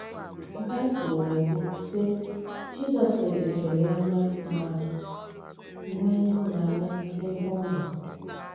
Bible na - ekwu, sị: “ Jizọs legidere ya anya ma nwee ịhụnanya n’ebe ọ nọ. ”